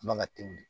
Man ka teli